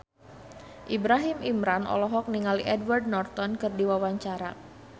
Ibrahim Imran olohok ningali Edward Norton keur diwawancara